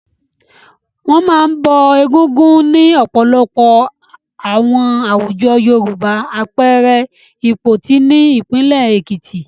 Wọ́n máa ń bọ Egúngún ní ọ̀pọ̀lọpọ̀ àwọn àwùjọ Yorùbá, àpẹẹrẹ I Ìpoti ní ìpínlẹ̀ Èkìtì.